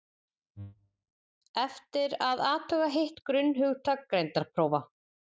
eftir er að athuga hitt grunnhugtak greindarprófa